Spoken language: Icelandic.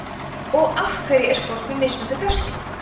og af hverju er fólk með mismunandi þefskyn